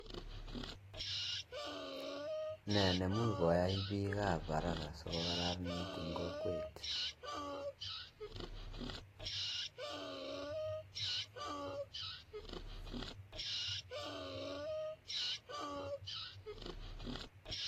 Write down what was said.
Nee nemuch kwaii piik ab araka siiko kararaniit eng kwokwet